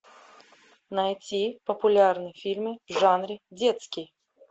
найти популярные фильмы в жанре детский